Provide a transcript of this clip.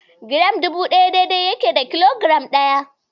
Giram dubu ɗaya dai-dai yake da kilogiram ɗaya.